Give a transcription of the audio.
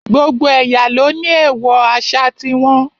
Gbogbo ẹ̀yà ló ní èèwọ̀ àṣà ti wọn